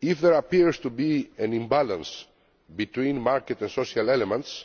If there appears to be an imbalance between market and social elements,